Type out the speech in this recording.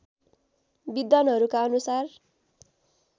विद्वानहरूका अनुसार